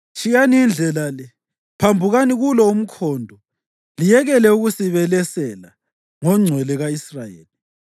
Tshiyani indlela le, phambukani kulo umkhondo liyekele ukusibelesela ngoNgcwele ka-Israyeli!”